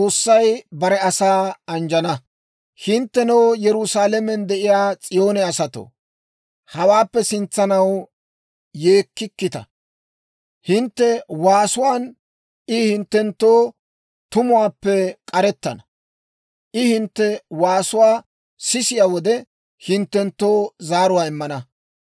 Hinttenoo, Yerusaalamen de'iyaa S'iyoone asatoo, hawaappe sintsanaw yeekkikkita; hintte waasuwaan I hinttenttoo tumuwaappe k'arettana; I hintte waasuwaa sisiyaa wode, hinttenttoo zaaruwaa immana.